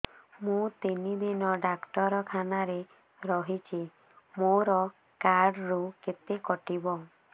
ମୁଁ ତିନି ଦିନ ଡାକ୍ତର ଖାନାରେ ରହିଛି ମୋର କାର୍ଡ ରୁ କେତେ କଟିବ